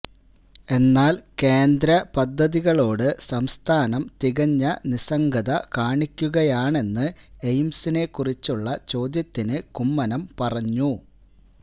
എന്നാല് കേന്ദ്ര പദ്ധതികളോട് സംസ്ഥാനം തികഞ്ഞ നിസ്സംഗത കാണിക്കുകയാണെന്ന് എയിംസിനെക്കുറിച്ചുള്ള ചോദ്യത്തിന് കുമ്മനം പറഞ്ഞു